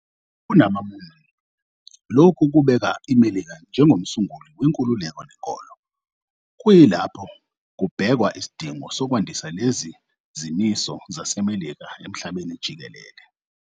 KumaMormon, lokhu kubeka iMelika njengomsunguli wenkululeko nenkolo, kuyilapho kubhekwa isidingo sokwandisa lezi zimiso zaseMelika emhlabeni jikelele.